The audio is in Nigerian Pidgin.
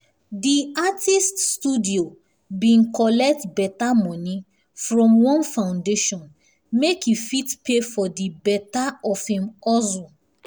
di artist studio bin collect beta money from one foundation make e fit pay for di beta of him hustle